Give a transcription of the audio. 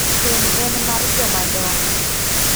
Keny en mar joma dongo.